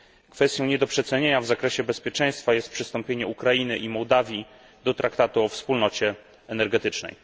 Kwestią nie do przecenienia w zakresie bezpieczeństwa jest przystąpienie Ukrainy i Mołdawii do Traktatu o Wspólnocie Energetycznej.